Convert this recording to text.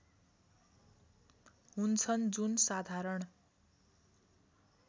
हुन्छन् जुन साधारण